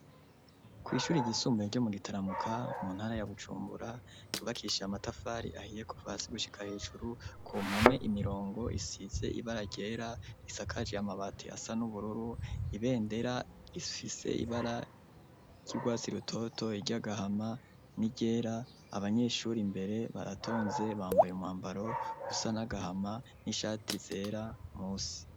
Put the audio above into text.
Kwishuri ry'isumbuye ryo mu Gitaramuka mu ntara ya Bujumbura ryubakishiye amatafari ahiye kuva hasi gushika hejuru ku mpome imirongo isize ibara ryera risakaje y'amabati asa n'ubururu, ibendera risfise ibara ry'irwatsi rutoto iryagahama n'igera abanyeshuri mbere baratonze bambaye umwambaro usa n'agahama n'ishati zera munsi.